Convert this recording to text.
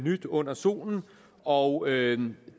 nyt under solen og